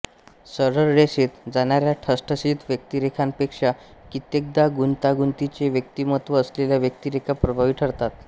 सरळरेषेत जाणाऱ्या ठसठशीत व्यक्तिरेखांपेक्षा कित्येकदा गुंतागुंतीचे व्यक्तिमत्त्व असलेल्या व्यक्तिरेखा प्रभावी ठरतात